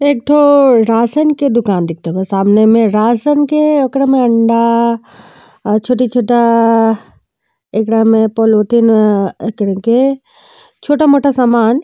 एकठो रासन के दुकान देखते बा। सामने में रासन के ओकरा में अंडा छोटी-छोटा एकरा में पॉलिथीन ऐकरिके छोटा मोटा समान --